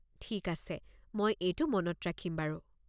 ঠিক আছে, মই এইটো মনত ৰাখিম বাৰু।